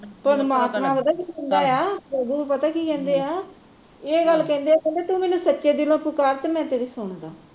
ਪਰਮਾਤਮਾ ਪਤਾ ਕੀ ਕਹਿੰਦਾ ਆ, ਪ੍ਰਭੂ ਪਤਾ ਕੀ ਕਹਿੰਦੇ ਆ ਇਹ ਗੱਲ ਕਹਿੰਦੇ ਆ ਕਹਿੰਦੇ ਤੂ ਮੈਂਨੂੰ ਸੱਚੇ ਦਿਲੋਂ ਪੁਕਾਰ ਤੇ ਮੈਂ ਤੇਰੀ ਸੁਣਦਾ